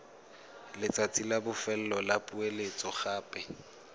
letsatsi la bofelo la poeletsogape